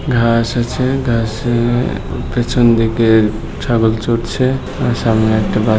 শেষে পেছন দিকে ছাগল চরছে আর সামনে একটা বাড়ি।